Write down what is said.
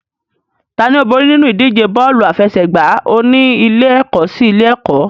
Tani ó borí nínú ìdíje bọ́ọ̀lù aláfẹsẹ̀gbá oní ilé-ẹ̀kọ́ sí ilé-ẹ̀kọ́?